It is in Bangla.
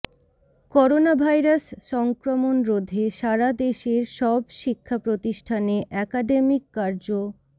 করোনাভাইরাস সংক্রমণ রোধে সারাদেশের সব শিক্ষা প্রতিষ্ঠানে একাডেমিক কার্য